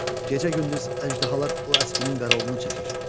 Gecə-gündüz əjdahalar o əskinin qarovulunu çəkir.